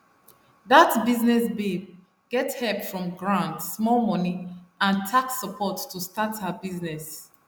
that business babe get help from grant small money and tax support to start her business